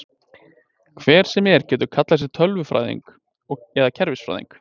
Hver sem er getur kallað sig tölvunarfræðing eða kerfisfræðing.